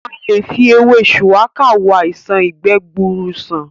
A lè fi ewé shuwaka wo àìṣàn ìgbẹ́ gbuuru sàn